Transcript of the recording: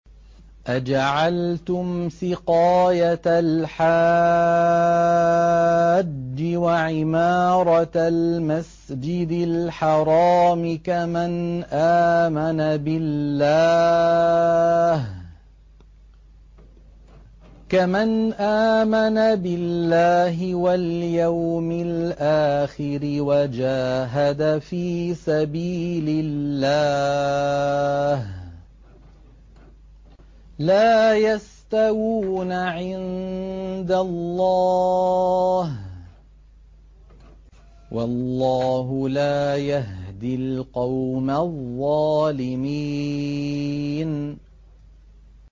۞ أَجَعَلْتُمْ سِقَايَةَ الْحَاجِّ وَعِمَارَةَ الْمَسْجِدِ الْحَرَامِ كَمَنْ آمَنَ بِاللَّهِ وَالْيَوْمِ الْآخِرِ وَجَاهَدَ فِي سَبِيلِ اللَّهِ ۚ لَا يَسْتَوُونَ عِندَ اللَّهِ ۗ وَاللَّهُ لَا يَهْدِي الْقَوْمَ الظَّالِمِينَ